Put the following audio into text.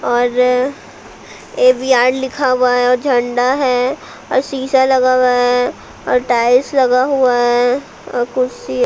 और ए_वी_आर लिखा हुआ है और झंडा है और शीशा लगा हुआ है और टाइल्स लगा हुआ है और कुर्सी --